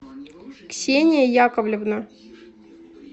ксения яковлевна